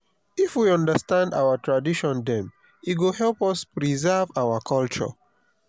if we understand our tradition dem e go help us preserve our culture.